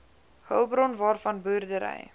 hulpbron waarvan boerdery